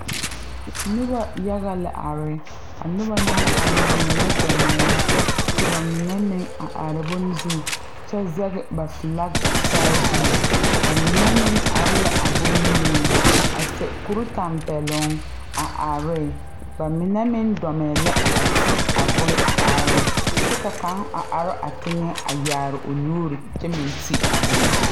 Nobɔ yaga la are a nobɔ naŋ ba mine dɔmɛɛ la ka ba mine meŋ a are bone zu nyɛ zege ba flaki saa zu ba mine meŋ are la a bon niŋeŋ a sɛ kure tampɛloŋ a are ne ba mine meŋ dɔmɛɛ la a ti a bon a are kyɛ ka kaŋ a are a teŋɛ a yaare o nuure kyɛ meŋ ti a bone.